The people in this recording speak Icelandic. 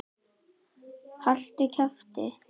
Hún fékk ekkert svar.